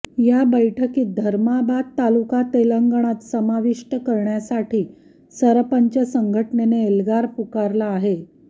या बैठकीत धर्माबाद तालुका तेलगंणात समाविष्ट करण्यासाठी सरपंच संघटनेने एल्गार पुकारला आहे